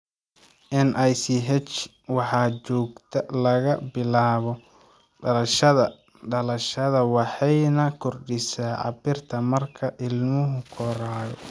NICH waxay joogtaa laga bilaabo dhalashada (dhalashada) waxayna kordhisaa cabbirka marka ilmuhu korayo.